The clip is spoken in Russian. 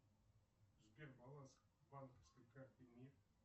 сбер баланс банковской карты мир